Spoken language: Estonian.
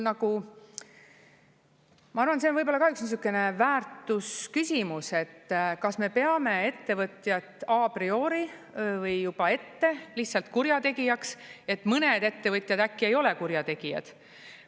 Ma arvan, et see on ka üks niisugune väärtusküsimus, et kas me peame ettevõtjat a priori või juba ette lihtsalt kurjategijaks, et mõned ettevõtjad äkki ei ole kurjategijad.